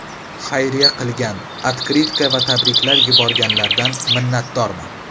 Xayriya qilgan, otkritka va tabriklar yuborganlardan minnatdorman.